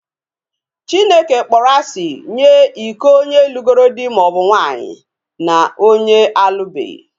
Chineke kpọrọ asị nye iko onye lugoro dị maọbu nwaanyị na onye alụbeghi